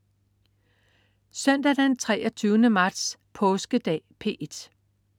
Søndag den 23. marts. Påskedag - P1: